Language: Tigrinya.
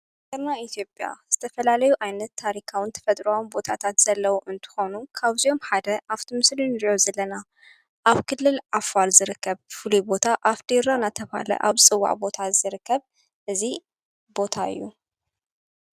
ተርና ኢትዮጵያ ዝተፈላለዩ ዓይነት ታሪካውን ተፈጥራውን ቦታታት ዘለዉ እንትኾኑ ካብዚኦም ሓደ ኣብቱ ምስሊ ንርዮ ዘለና ኣብ ክልል ኣፋል ዝርከብ ፍሉይ ቦታ ኣፍዲራ ናተብሃለ ኣብ ዝፅዋዕ ቦታ ዝርከብ እዙይ ቦታ እዩ።